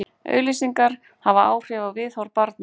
Auglýsingar hafa áhrif á viðhorf barna.